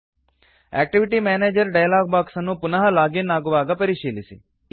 activity manager dialog box ಅನ್ನು ಪುನಃ log in ಆಗುವಾಗ ಪರಿಶೀಲಿಸಿ